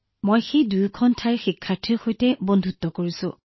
মই সেই দুয়োটা ঠাইতে শিক্ষাৰ্থীসকলৰ সৈতে বন্ধুত্ব কৰিছো